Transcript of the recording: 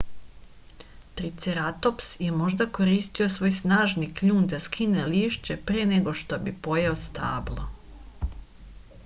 triceratops je možda koristio svoj snažni kljun da skine lišće pre nego što bi pojeo stablo